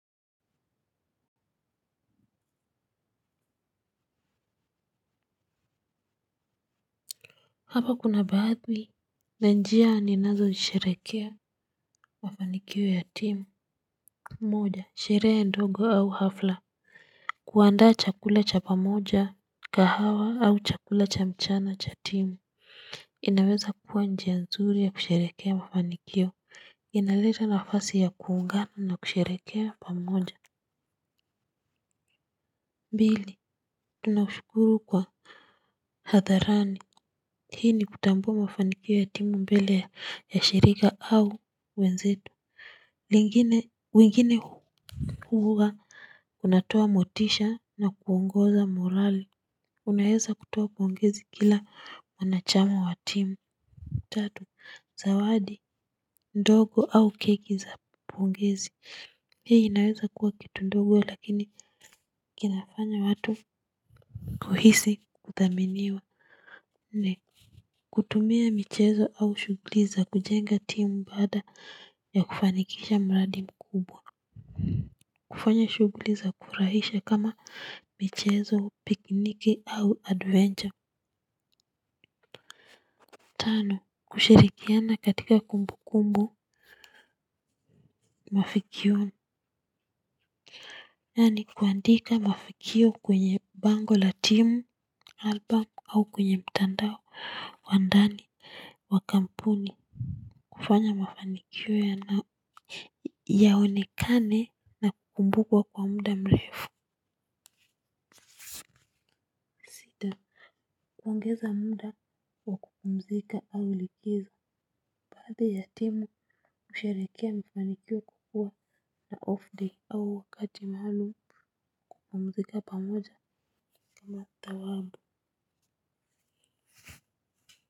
Hapa kuna baadhi ya njia ninazo sherekea. Mafanikio ya timu. Moja sherehe ndogo au hafla. Kuandaa chakula cha pamoja kahawa au chakula cha mchana cha timu. Inaweza kuwa njia nzuri ya kusherekea mafanikio. Inaleta nafasi ya kuungana na kusherekea pamoja. Pili tunashukuru kwa hadharani hii ni kutambua mafanikio ya timu mbele ya shirika au wenzetu. Lingine wengine huwa kunatoa motisha na kuongoza morali. Unaeza kutoa pongezi kila mwanachama wa timu. Tatu zawadi ndogo au keki za pongezi. Hii inaweza kuwa kitu ndogo lakini kinafanya watu kuhisi kuthaminiwa. Nne kutumia michezo au shuguli za kujenga timu baada ya kufanikisha mradi mkubwa. Kufanya shuguli za kufurahisha kama michezo, pikiniki au adventure. Tano, kushirikiana katika kumbu kumbu mafikioni. Yani kuandika mafikio kwenye bango la timu album au kwenye mtandao wa ndani, wa kampuni, kufanya mafanikio ya nao yaonekane na kukumbukwa kwa muda mrefu. Kuongeza muda wa kupumzika au likizo baadhi ya timu husherekea mafanikio kwa kuwa na off day au wakati maalum kupumzika pamoja kama tawabu.